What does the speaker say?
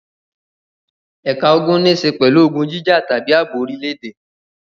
Ẹ̀ka ogun níṣe pẹ̀lú ogun jíjà tàbí ààbò orílẹ̀-èdè.